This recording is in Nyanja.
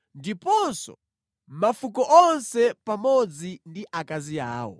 ndiponso mafuko onse pamodzi ndi akazi awo.